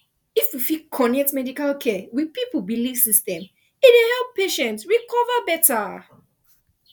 if we fit connect medical care with people belief system e dey help patient recover better